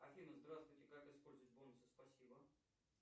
афина здравствуйте как использовать бонусы спасибо